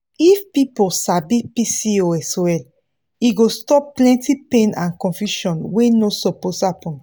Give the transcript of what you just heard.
if people sabi pcos well e go stop plenty pain and confusion wey no suppose happen.